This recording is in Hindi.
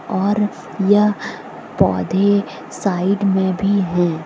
और यह पौधे साइड में भी हैं।